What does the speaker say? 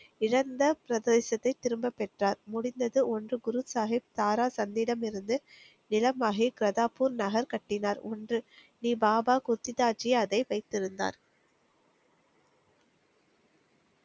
இழந்த பிரதேசத்தை திரும்ப பெற்றார். முடிந்தது. ஒன்று. குரு சாகிப் தாரா தம்மிடமிருந்து நிலமாகி பிரதாப்பூர் நகர் கட்டினார். ஒன்று. இப் பாபா குத்திசாஜி அதை வைத்திருந்தார்.